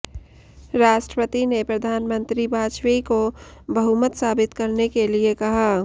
राष्ट्रपति ने प्रधानमंत्री वाजपेयी को बहुमत साबित करने के लिए कहा